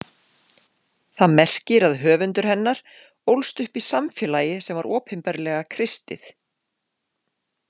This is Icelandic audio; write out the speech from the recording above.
Það merkir að höfundur hennar ólst upp í samfélagi sem var opinberlega kristið.